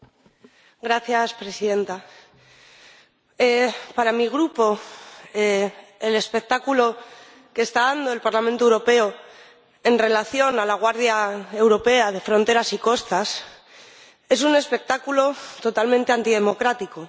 Señora Presidenta, para mi grupo, el espectáculo que está dando el Parlamento Europeo en relación con la Guardia Europea de Fronteras y Costas es un espectáculo totalmente antidemocrático.